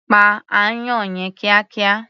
Pa aáyán yẹn kíákíá.